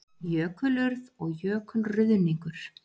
Jökulurð og jökulruðningur